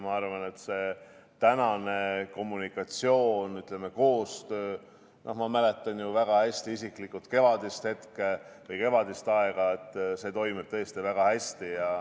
Ma arvan, et praegune kommunikatsioon ja, ütleme, koostöö – ma mäletan ju väga hästi isiklikult kevadist hetke või kevadist aega ja seda, kuidas siis oli –toimib tõesti väga hästi.